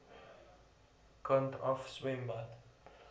kant af swembad